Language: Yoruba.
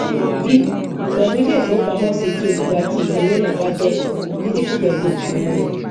b pẹlú ilé ìfowópamọsí tí olùgbà tí ìwé owó náà bá jẹ dídíkùn pẹlú olùṣowóo rẹ